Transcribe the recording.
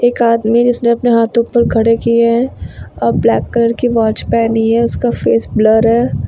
एक आदमी जिसने अपने हाथ ऊपर खड़े किए हैं और ब्लैक कलर की वॉच पहनी है उसका फेस ब्लर है।